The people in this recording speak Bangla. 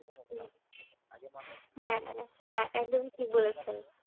হম হ্যাঁ একদমই ঠিক বলেছেন।